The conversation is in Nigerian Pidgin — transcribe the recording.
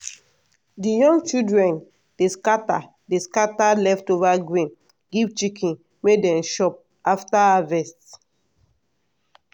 the young children dey scatter dey scatter leftover grain give chicken may dey chop after harvest.